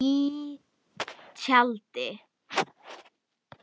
Í tjaldi.